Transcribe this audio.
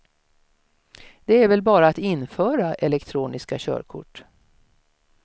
Det är väl bara att införa elektroniska körkort.